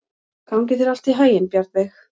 Gangi þér allt í haginn, Bjarnveig.